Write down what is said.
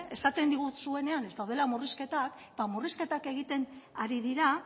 esaten diguzuenean ez daudela murrizketak eta murrizketak egiten ari dira